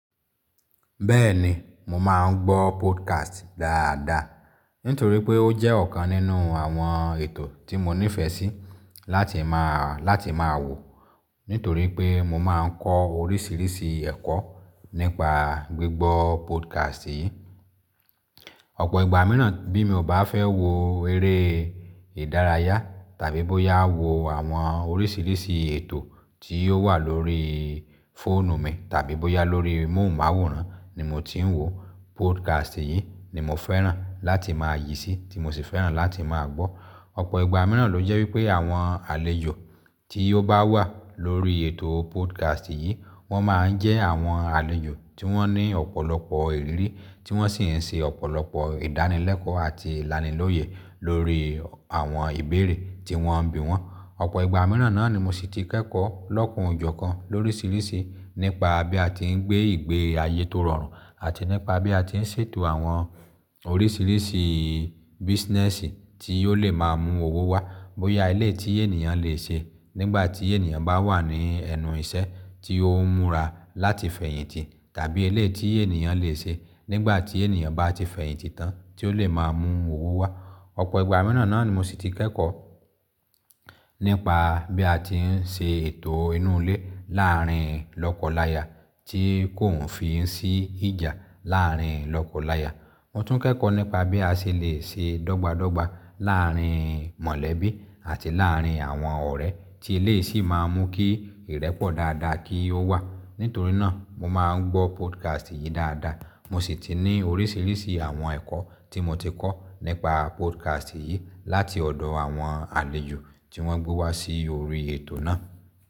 Bẹ́ẹ̀ni mo máa n gbọ́ podcasti dáadáa nítorí wí pé ó jẹ́ ọ̀kan nínú àwọn ètò tí mo nífẹ sí láti ma wò nítorí pé mo máa ń kọ́ oríṣiríṣi ẹ̀kọ́ nípa gbígbọ́ podcast yìí. Ọ̀pọ̀ ìgbà mìíràn bí mi ò bá fẹ́ wo eré ìdárayá tàbí bóyá wo àwọn oríṣiríṣi ètò tí ó wà lórí fóònù mi tàbí bóyá lórí móhùnmáwòrán ni mo ti ń wò, podcast yìí ni mo fẹ́ràn láti máa yí sì tí mo sì fẹ́ràn láti máa gbọ́. Ọ̀pọ̀ ìgbà mìíràn ló jẹ́ wípé àwọn àlejò tí ó bá wà lórí ètò podcast yìí, wọ́n máa ń jẹ́ àwọn àlejò tí wọ́n ní ọ̀pọ̀lọpọ̀ ìrírí, tí wọ́n sì ń ṣe ọ̀pọ̀lọpọ̀ ìdánilẹ́kọ̀ọ́ àti ìlanilóyẹ̀ lórí àwọn ìbéèrè tí wọ́n bí wọ́n. Ọ̀pọ̀ ìgbà mìíràn náà ni mo sì ti kẹ́kọ̀ọ́ lọ́kanòjọ̀kan loríṣiríṣi nípa bí a ti ń gbé ìgbé ayé tó rọrùn àti nípa bí a ti ń ṣètò àwọn oríṣiríṣi business tí ó lè máa mú owó wá. Bóyá eléyì tí ènìyàn lè ṣe nígbà tí ènìyàn bá wà ní ẹnù iṣẹ́ tí ó ń múra láti fẹ̀yìntì tàbí eléyìí tí ènìyàn lè ṣe nígbà tí ènìyàn bá ti fẹ̀yìntì tán tí ó lè máa mú owó wá. Ọ̀pọ̀ ìgbà mìíràn náà ni mo sì ti kẹ́kọ̀ọ́ nípa bí a ti ń ṣe ètò inú ilé láàárín lọ́kọláya tí kò ń fi sí ìjà láàárín lọ́kọláya. Mo tún kẹ́kọ̀ọ́ nípa bí a ṣe lè ṣe dọ́gba dọ́gba láàárín mọ̀lẹ́bí àti láàárín àwọn ọ̀rẹ́ tí eléyì sì máa n mú kí ìrẹ́pọ̀ dáadáa kí ó wà. Nítorí náà mo máa ń gbọ́ podcast yìí dáadáa. Mo sì ti ní oríṣiríṣi àwọn ẹ̀kọ́ tí mo ti kọ́ nípa podcast yìí láti ọ̀dọ̀ àwọn àlejò tí wọ́n gbé wá sí orí ètò náà.